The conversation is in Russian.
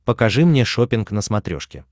покажи мне шоппинг на смотрешке